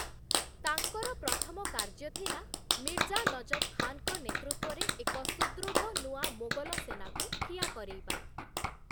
ତାଙ୍କର ପ୍ରଥମ କାର୍ଯ୍ୟ ଥିଲା, ମିର୍ଜା ନଜଫ୍‌ ଖାନଙ୍କ ନେତୃତ୍ୱରେ ଏକ ସୁଦୃଢ଼ ନୂଆ ମୋଗଲ ସେନାକୁ ଠିଆ କରେଇବା ।